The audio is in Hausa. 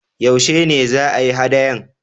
Yaushe ne za a yi haɗayan?